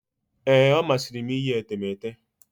Ee, ọ masịrị m iyi etemeete.